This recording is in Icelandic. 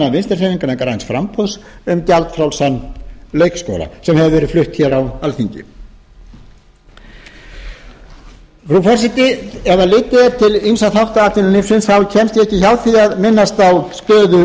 þingmanna vinstri hreyfingarinnar græns framboðs um gjaldfrjálsan leikskóla sem hefur verið flutt hér á alþingi frú forseti ef litið er til ýmissa þátta atvinnulífsins kemst ég ekki hjá því að minnast á stöðu